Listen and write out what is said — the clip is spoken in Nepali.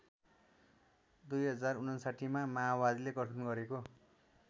२०५९ मा माओवादीले गठन गरेको